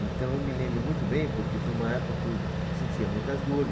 Então, eu me lembro muito bem porque foi uma época que eu sentia muitas dores.